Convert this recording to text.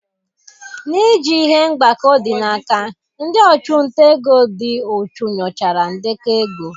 N'iji ihe mgbakọ dị n'aka, ndị ọchụnta ego dị uchu nyochara ndekọ ego.